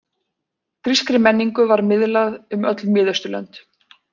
Grískri menningu var miðlað um öll Miðausturlönd.